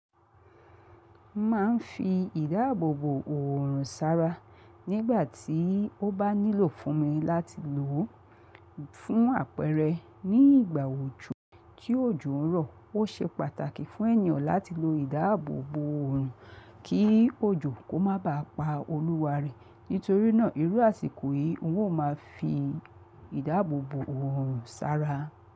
Má a ń fi ìdáàbòbò òòrùn sára nígbà tí ó bá nílò fún mi láti lò ó fún àpẹẹrẹ ní ìgbà òjò kí òjò ń rọ̀. Ó ṣe pàtàkì fún ènìyàn láti lo ìdáàbòbò òòrùn kí òjò kó má ba à pa olúwa rẹ̀. Nítorí náà, ìrú àsìkò yìí, un ó ma fi ìdáàbòbò òòrùn sára.